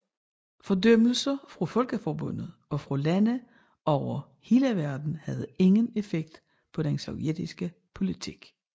Fordømmelser fra Folkeforbundet og fra lande over hele verden havde ingen effekt på den sovjetiske politik